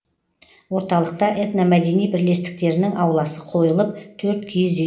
орталықта этномәдени бірлестіктерінің ауласы қойылып төрт киіз үй